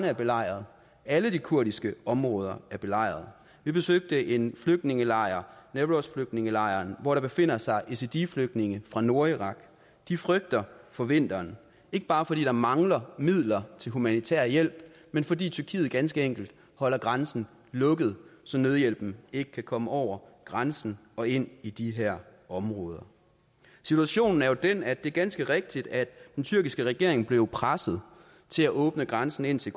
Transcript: er belejret alle de kurdiske områder er belejret vi besøgte en flygtningelejr newrozflygtningelejren hvor der befinder sig yazidiflygtninge fra nordirak de frygter for vinteren ikke bare fordi der mangler midler til humanitær hjælp men fordi tyrkiet ganske enkelt holder grænsen lukket så nødhjælpen ikke kan komme over grænsen og ind i de her områder situationen er jo den at det er ganske rigtigt at den tyrkiske regering blev presset til at åbne grænsen indtil